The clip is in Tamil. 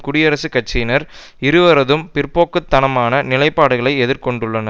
குடியரசுக் கட்சியினர் இருவரதும் பிற்போக்கு தனமான நிலைப்பாடுகளை எதிர்கொண்டுள்ளனர்